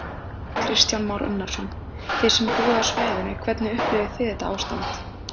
Kristján Már Unnarsson: Þið sem búið á svæðinu, hvernig upplifið þið þetta ástand?